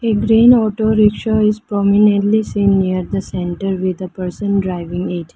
A green auto rickshaw is prominently seen near the centre with a person driving it.